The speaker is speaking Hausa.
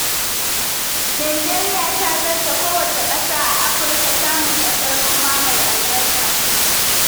Najeriya ta zarce kowace ƙasa a Afirka samun ƙasar noma mai albarka.